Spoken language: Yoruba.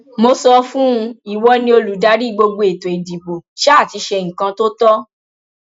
mo sọ fún un ìwọ ni olùdarí gbogbo ètò ìdìbò sá ti ṣe nǹkan tó tọ